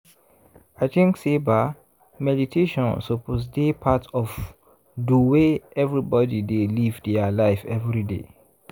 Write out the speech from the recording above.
i thinks say ba meditation suppose dey part of do way everbody dey live dia life everyday.